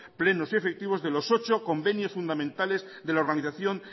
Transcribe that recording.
plenos y efectivos de los ocho convenios fundamentales de la organización